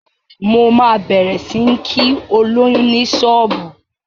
Mo ma bẹ̀rẹ̀ sí ń kí olóyún ní ṣọ́ọ̀bú